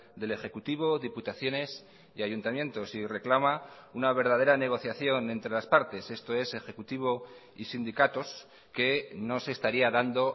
del ejecutivo diputaciones y ayuntamientos y reclama una verdadera negociación entre las partes esto es ejecutivo y sindicatos que no se estaría dando